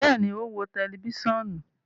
Bẹẹni, o n wo tẹlifisiọnu